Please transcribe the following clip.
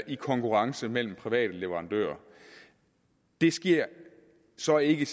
en konkurrence mellem private leverandører det sker så ikke